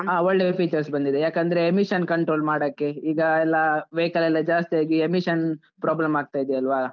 ಹಾ ಒಳ್ಳೆ features ಬಂದಿದೆ ಯಾಕಂದ್ರೆ emission control ಮಾಡಾಕೆ ಈಗ ಎಲ್ಲಾ vehicle ಎಲ್ಲ ಜಾಸ್ತಿಯಾಗಿ emission problem ಆಗ್ತಾ ಇದೆ ಅಲ್ವಾ?